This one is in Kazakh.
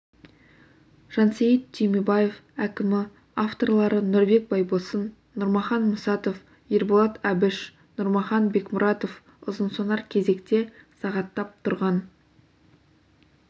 жансейіт түймебаев әкімі авторлары нұрбек байбосын нұрмахан мұсатов ерболат әбіш нұрмахан бекмұратов ұзынсонар кезекте сағаттап тұрған